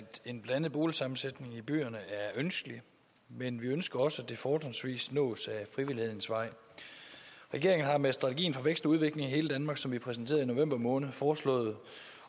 en blandet boligsammensætning i byerne er ønskelig men vi ønsker også at det fortrinsvis nås ad frivillighedens vej regeringen har med strategien vækst og udvikling i hele danmark som vi præsenterede i november måned foreslået